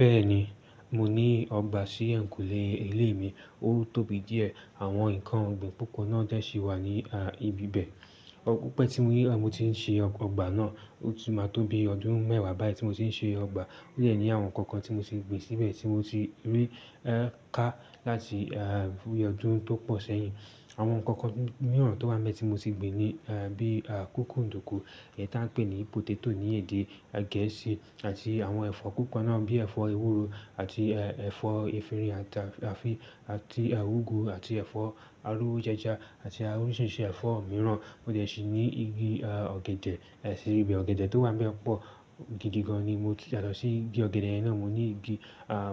Bẹ́ẹ̀ni, mo ní ọgbà sí ẹ̀yìnkùlé ilé mi, ó tóbi díẹ̀. Àwọn nǹkan ọ̀gbìn púpọ̀ náà dẹ́ ṣì wà ní ibi bẹ. Òku pẹ́ tí mo rí oda pe otí tti ń ṣe ọgbà náà, ó ti máa tóbi ọdún mẹ́wàá báyìí tí mo ti ń ṣe ọgbà. Ó yẹ ní àwọn nǹkan kan tí mo ti gbin síbẹ̀ tí mo ti rí ẹ ká láti ọdún tó pọ̀ sẹ́yìn. Àwọn nǹkan kan mìíràn tó wa n bẹ ti mi tí mo ti gbin ni bí à kókòndòkò, èyí táa ń pè ní potato ní èdè Gẹ̀ẹ́sì àti àwọn ẹ̀fọ́ kọ̀ọ̀kan náà bíi ẹ̀fọ́ ewúro àti ẹ̀fọ́ efinrin àti àfi àti ugwu àti ẹ̀fọ́ aró ojaja àti oríṣiríṣi ẹ̀fọ́ mìíràn. Mo dẹ̀ ṣì ní igi ọ̀gẹ̀dẹ̀, èṣì ibi ọ̀gẹ̀dẹ̀ tó wà bẹ́ẹ̀ pọ̀. Gidi gan-an ni mo ti yàtọ̀ sí igi ọ̀gẹ̀dẹ̀ náà. Mo ní igi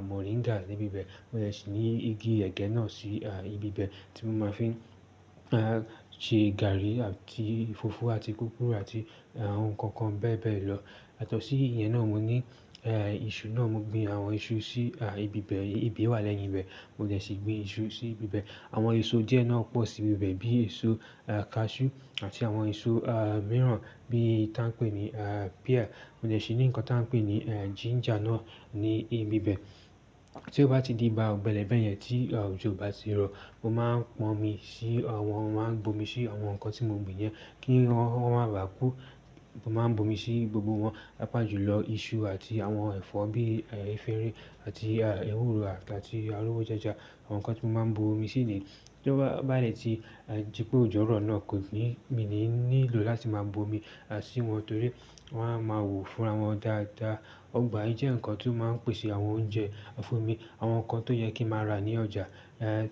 moringa níbi bẹ. Mo dẹ̀ ṣì ní igi ẹ̀gẹ́ náà sí ibi bẹ tí mo máa fi ń ṣe gààrí àti ìfófó àti kòkòrò àti àwọn nǹkan kan bẹ́ẹ̀ bẹ́ẹ̀ lọ. Yàtọ̀sí ìyẹn náà mo ní iṣu náà, mo gbin àwọn iṣu sí ibi bẹ, ibẹ̀ wà lẹ́yìn ibẹ̀. Mo dẹ̀ ṣì gbin iṣu sí ibi bẹ. Àwọn èso díẹ̀ náà pọ̀ sí ibi bẹ bíi èso cashew àti àwọn èso mìíràn bí i táa ń pè ní pear. Mo dẹ̀ ṣì ní nǹkan táa ń pè ní ginger náà ní ibi bẹ. Tí ó bá ti di ìgbà ọ̀gbẹlẹ́ bẹ̀ yẹn tí òjò o bá ti rọ̀, mo máa pọn omi sí àwọn, màá bo omi sí àwọn nǹkan tí mo gbin yẹn kí wọ́n má bà kú. Mo máa bo omi sí gbogbo wọn, pàápàá jùlọ iṣu àti àwọn ẹ̀fọ́ bíi ẹ̀fọ́ efinrin àti ewúro àti aró ojaja, àwọn nǹkan tí mo máa bo omi síni. Tí ó bá ba dẹ́ tí jípé òjò rọ̀ náà kò ní mi ní lílò láti máa bo omi sí wọn torí wọ́n a máa wò fún ra wọn dáadáa. Ọgbà yìí jẹ́ nǹkan tí ó máa ń pèsè àwọn oúnjẹ fún mi. Àwọn nǹkan tó yẹ kí n máa rà ní ọjà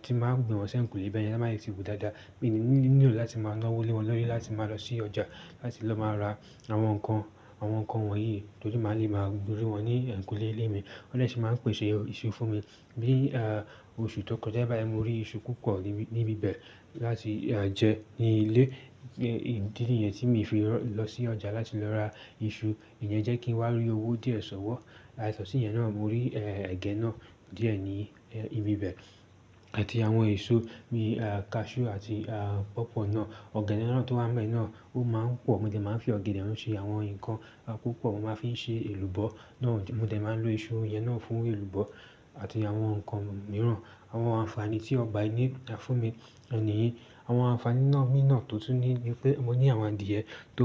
tí màá gbin wọn sí ẹ̀yìnkùlé bẹ́yẹn, ton báa dẹ ti wù dáadáa. Mi ò ní lílò láti máa lọ́wó lé wọn lọ́yẹ láti máa lọ sí ọjà láti lọ máa ra àwọn nǹkan, àwọn nǹkan wọ̀nyí torí màá le máa rí wọn ní ẹ̀yìnkùlé ilé mi. Wọ́n dẹ̀ ṣì máa ń pèsè iṣu fún mi. Bí ah oṣù tó kọjá bá bẹ́ẹ̀, mo rí iṣu púpọ̀ níbi bẹ láti jẹ ní ilé. Ìdí nìyẹn tí mi fi lọ sí ọjà láti lọ ra iṣu. Ìyẹn jẹ́ kí n wá rí owó díẹ̀ ṣọ̀wọ́. Yàtọ̀ sí ìyẹn náà mo rí ẹ̀gẹ́ náà díẹ̀ ní ibi bẹ àti àwọn èso bíi cashew àti pọ̀pọ̀ náà. Ọ̀gẹ̀dẹ̀ náà tó wà bẹ́ẹ̀ náà ó máa ń pọ̀. Mo dẹ̀ máa ń fi ọ̀gẹ̀dẹ̀ náà ṣe àwọn nǹkan púpọ̀. Mo máa fi ń ṣe èlùbọ́ náà. Mo dẹ̀ máa ń lo iṣu yẹn náà fún èlùbọ́ àti àwọn nǹkan mìíràn. Àwọn ànfàní tí ọgbà yìí ní fún mi òun nìyìí. Àwọn ànfàní náà nínà tó túni ni pé mo ní àwọn adìẹ tó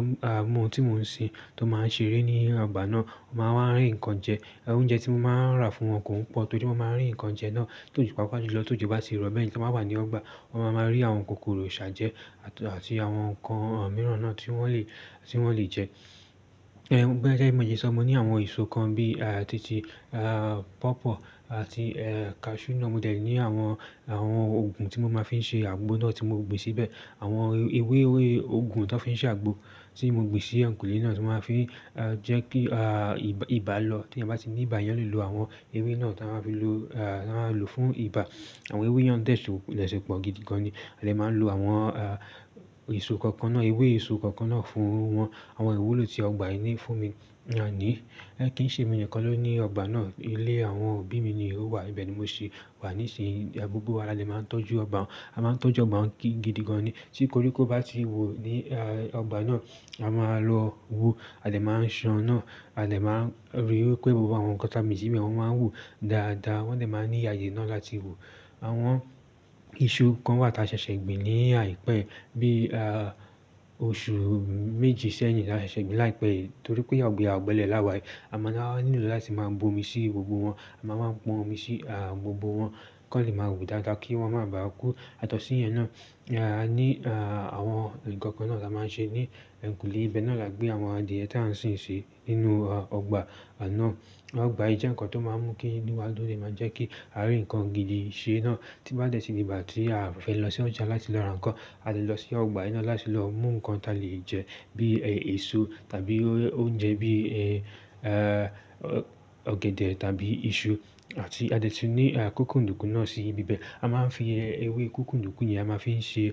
mú ohun tí mò ń sin tó máa ń ṣeré ní ọgbà náà. Wọ́n máa ń rí nǹkan jẹ. Oúnjẹ tí mo máa ń rà fún wọn kò ń pọ̀ torí wọ́n máa ń rí nǹkan jẹ náà torí pàápàá jùlọ tí òjò bá ti rọ̀. Bẹ́ẹ̀ kí wọ́n bá wà ní ọgbà, wọ́n máa rí àwọn kòkòrò ṣà jẹ́ àti àwọn nǹkan mìíràn náà tí wọ́n lè, tí wọ́n lè jẹ́. Ẹwo gbẹ́jẹ bi mo ye ṣọ, mo ní àwọn èso kan bíi títì, pọ̀pọ̀ àti cashew náà. Mo dẹ̀ ní àwọn, àwọn òògùn tí mo máa fi ń ṣe àgbo náà tí mo gbin síbẹ̀. Àwọn ewé ewé òògùn tan fi ń ṣe àgbo tí mo gbin sí ẹ̀yìnkùlé náà tí màá fi jẹ́ kí ibà lọ tí ẹ bá ti ní ibà yẹn lè lo àwọn ewé náà táa máa fi lò fún ibà. Àwọn ewé yẹn dẹ̀ ṣe pọ̀ gidi gan-an ni. A lè máa ń lo àwọn èso kọ̀ọ̀kan náà, ewé èso kọ̀ọ̀kan náà fún wọn. Àwọn ìwúlò tí ọgbà yìí ní fún mi ni àní. Ẹ kí ń ṣe mi nǹkan ló ní ọgbà náà. Ilé àwọn òbí mi ni ò wà ibẹ̀ ni mo ṣe wà níìsín. Gbogbo wa a lè máa ń tọ́jú ọgbà. A máa ń tọ́jú ọgbà gidi gan-an ni. Tí koríko bá ti wù ní ọgbà náà, a máa lọ wu. A dẹ̀ máa ń ṣàn náà. A dẹ̀ máa ń rí pé gbogbo àwọn nǹkan táa gbin sí bẹ́ẹ̀, wọ́n máa ń wù dáadáa. Wọ́n dẹ̀ máa ń ní àyè náà láti wù. Àwọn iṣu kan wà tí a ṣẹ̀ṣẹ̀ gbin ní àìpẹ́ bí i oṣù méjì sẹ́yìn la ṣe gbin láìpẹ́ yìí torí pé àgbo ẹ àbọ̀lẹ̀ aláwà. A máa ń nílò láti máa bo omi sí gbogbo wọn. A máa ń pọn omi sí gbogbo wọn kí wọn lè máa wù dáadáa kí wọn má bà kú. Yàtọ̀ sí ìyẹn náà, àní àwọn nǹkan kan náà la máa ń ṣe ní ẹ̀yìnkùlé ibẹ̀ náà la gbé àwọn adìẹ tí a ń sin sí nínú ọgbà náà. Ọgbà yìí jẹ́ nǹkan tó máa ń mú kí inú wa dùn tó le máa jẹ́ kí a rí nǹkan gidi ṣe ná. Tí bá dẹ́ ti di ìgbà tí a fẹ́ lọ sí ọjà láti lọ ra nǹkan, a lè lọ sí ọgbà iná láti lọ mú nǹkan táa lè jẹ bí èso tàbí oúnjẹ bí ọ̀gẹ̀dẹ̀ tàbí iṣu àti a lè ti ní kókòndòkù náà sí ibi bẹ. A máa ń fi ewé kókòndòkù yẹn, a máa fi ń ṣe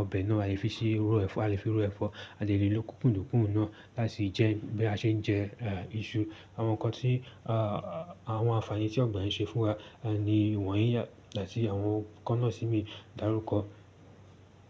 ọbẹ̀ náà. A lè fi ṣe ro ẹ̀fọ́. A lè fi roẹ̀fọ́. A lè lò kókòndòkù náà láti jẹ́ bí a ṣe ń jẹ iṣu. Àwọn nǹkan tí àwọn ànfàní tí ọgbà yìí ń ṣe fún wa ni wọ̀nyí àti àwọn nǹkan náà ti mi dárúkọ.